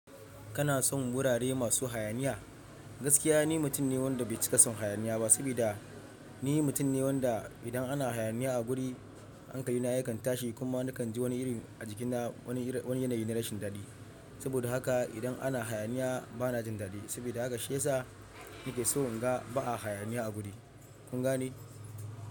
Kana son wurare masu hayaniya? Gaskiya ni mutum ne wanda bai ci kasan hayaniya ba, sabida ni mutum ne wanda idan ana hayaniya a guri hankali na yakan tashi kuma nakan ji wani iri a jikina wani yanayi na rashin dadi. Saboda haka idan ana hayaniya bana jin dadi, sabida haka shi yasa nake so in ga ba a hayaniya a guri. Kun gane?